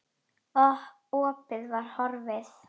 Opið var horfið.